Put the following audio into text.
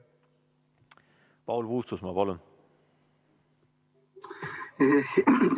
Paul Puustusmaa, palun!